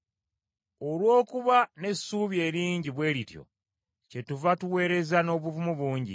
Olw’okuba n’essuubi eringi bwe lityo, kyetuva tuweereza n’obuvumu bungi,